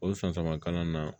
O san caman kalan na